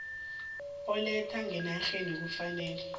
oletha ngenarheni kufanele